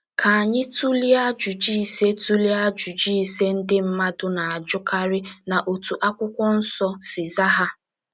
Ka anyị tụlee ajụjụ ise tụlee ajụjụ ise ndị mmadụ na - ajụkarị na otú akwụkwọ nsọ si zaa ha.